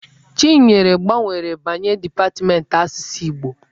Chinyere gbanwere banye depatmentị asụsụ Igbo.